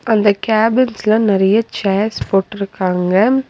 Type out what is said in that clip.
அந்த கேபின்ஸ்ல நறைய சேர்ஸ் போட்டுருக்காங்க.